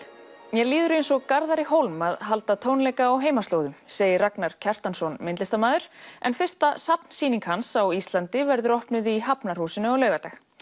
mér líður eins og Garðari Hólm að halda tónleika á heimaslóðum segir Ragnar Kjartansson myndlistarmaður en fyrsta hans á Íslandi verður opnuð í Hafnarhúsinu á laugardag